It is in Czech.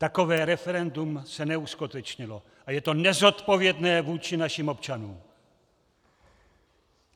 Takové referendum se neuskutečnilo a je to nezodpovědné vůči našim občanům!